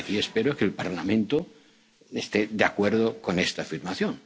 Penal Internacional. Y aquí, espero que el Parlamento esté de acuerdo